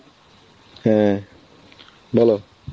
হ্যাঁ বলো